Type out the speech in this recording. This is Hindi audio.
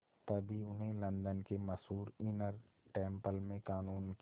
तभी उन्हें लंदन के मशहूर इनर टेम्पल में क़ानून की